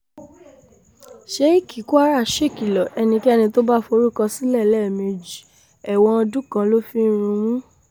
iehék kwara ṣèkìlọ̀ ẹnikẹ́ni tó bá forúkọ sílẹ̀ lẹ́ẹ̀mejì ẹ̀wọ̀n ọdún kan ló fi ń rúnmú